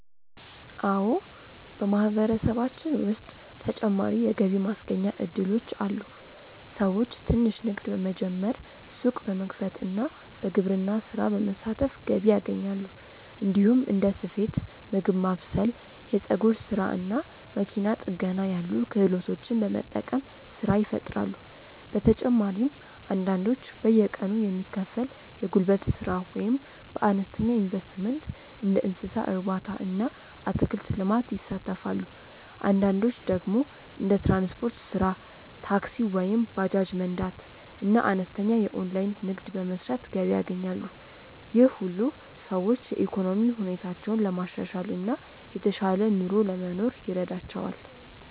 አዎ፣ በማህበረሰባችን ውስጥ ተጨማሪ የገቢ ማስገኛ እድሎች አሉ። ሰዎች ትንሽ ንግድ በመጀመር፣ ሱቅ በመክፈት እና በግብርና ስራ በመሳተፍ ገቢ ያገኛሉ። እንዲሁም እንደ ስፌት፣ ምግብ ማብሰል፣ የፀጉር ስራ እና መኪና ጥገና ያሉ ክህሎቶችን በመጠቀም ስራ ይፈጥራሉ። በተጨማሪም አንዳንዶች በየቀኑ የሚከፈል የጉልበት ስራ ወይም በአነስተኛ ኢንቨስትመንት እንደ እንስሳ እርባታ እና አትክልት ልማት ይሳተፋሉ። አንዳንዶች ደግሞ እንደ ትራንስፖርት ስራ (ታክሲ ወይም ባጃጅ መንዳት) እና አነስተኛ የኦንላይን ንግድ በመስራት ገቢ ያገኛሉ። ይህ ሁሉ ሰዎች የኢኮኖሚ ሁኔታቸውን ለማሻሻል እና የተሻለ ኑሮ ለመኖር ይረዳቸዋል።